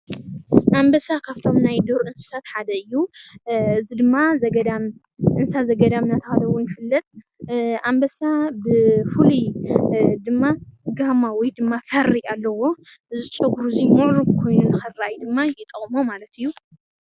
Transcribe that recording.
ኣንበሳ ካብቶም ናይ ዱር እንስሳት ሓደ እዩ፡፡ እዚ ድማ እንስሳ ዘገዳም እናተባሃለ ይፍለጥ፡፡ ኣንበሳ ብተፈጥሮ ፍሩይ ፀጉሪ ኣለዎ እዚ ድማ ፍሩይ ኮይኑ ንክረአይ ድማ ይጠቅሞ ማለት እዩ፡፡